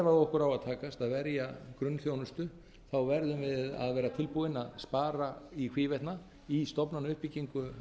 á að takast að verja grunnþjónustu verðum við að vera tilbúin að spara í hvívetna í stofnanauppbyggingu